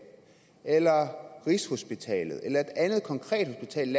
eller rigshospitalet eller et andet konkret hospital